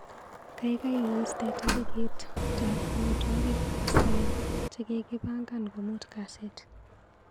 Kaikai istee tarikitat amitwogikap koskoliny chekikipangan komut kasit.